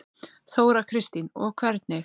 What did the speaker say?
Þóra Kristín: Og hvernig?